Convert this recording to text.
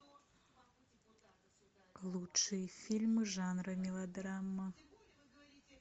лучшие фильмы жанра мелодрама